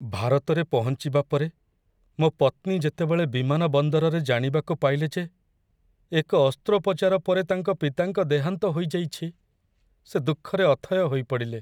ଭାରତରେ ପହଞ୍ଚିବା ପରେ ମୋ ପତ୍ନୀ ଯେତେବେଳେ ବିମାନ ବନ୍ଦରରେ ଜାଣିବାକୁ ପାଇଲେ ଯେ ଏକ ଅସ୍ତ୍ରୋପଚାର ପରେ ତାଙ୍କ ପିତାଙ୍କ ଦେହାନ୍ତ ହୋଇଯାଇଛି, ସେ ଦୁଃଖରେ ଅଥୟ ହୋଇପଡ଼ିଲେ।